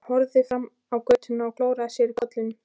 Hann horfði fram á götuna og klóraði sér í kollinum.